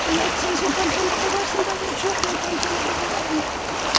содан айтты сен сен комсомолда барсың ба деді жоқ мен комсомолда болған жоқ